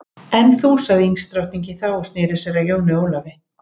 En þú sagði ísdrottningin þá og sneri sér að Jóni Ólafi.